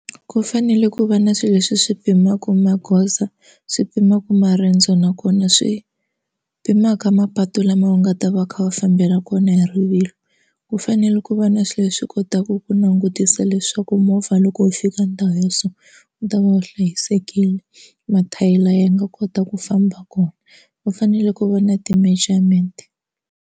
Ku fanele ku va na swilo leswi swi pimaka magoza, swi pimaka marendzo nakona swi pimanaka mapatu lama nga ta va kha va fambela kona hi rivilo ku fanele ku va na swi leswi kotaka ku langutisa leswaku movha loko wu fika ndhawu ya so u ta va wu hlayisekile mathayere lama ya nga kota ku famba kona va fanele ku va na ti-measurement.